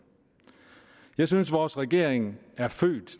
jeg synes at vores regering er født